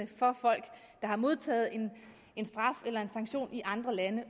for folk der har modtaget en straf eller en sanktion i andre lande